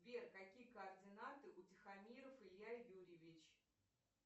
сбер какие координаты у тихомиров илья юрьевич